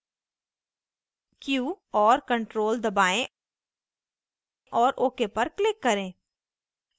q और ctrl दबाएँ और ok पर click करें